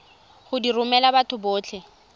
go di romela batho botlhe